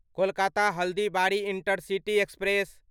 Kolkata Haldibari intercity express